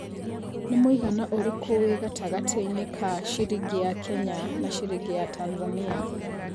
ni mũigana ũrĩkũ wĩ gatangatĩnĩ ka cĩrĩngĩ ya Kenya na cĩrĩngĩ ya Tanzania